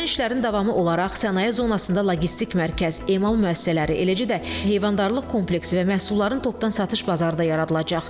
Görülən işlərin davamı olaraq sənaye zonasında logistik mərkəz, emal müəssisələri, eləcə də heyvandarlıq kompleksi və məhsulların topdan satış bazarı da yaradılacaq.